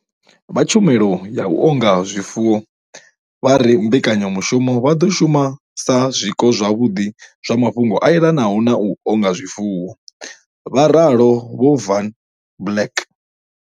Zwo ralo, vha tshumelo ya u onga zwifuwo vha re kha mbekanyamushumo vha ḓo shuma sa zwiko zwavhuḓi zwa mafhungo a elanaho na u onga zwifuwo, vha ralo Vho Van Blerk.